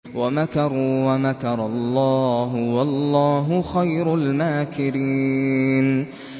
وَمَكَرُوا وَمَكَرَ اللَّهُ ۖ وَاللَّهُ خَيْرُ الْمَاكِرِينَ